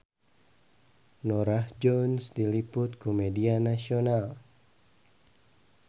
Norah Jones diliput ku media nasional